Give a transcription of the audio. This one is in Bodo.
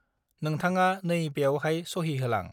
नोंथाङा नै बेयावहाय सहि होलां